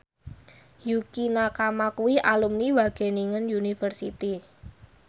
Yukie Nakama kuwi alumni Wageningen University